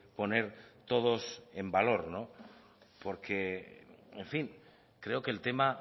poner todos en valor porque en fin creo que el tema